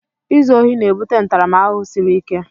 Izu ohi na-ebute ntaramahụhụ siri ike.